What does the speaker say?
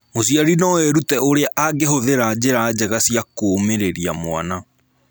Mũciari no erute ũrĩa angĩhũthĩra njĩra njega cia kũũmĩrĩria mwana.